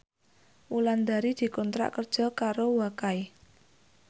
Wulandari dikontrak kerja karo Wakai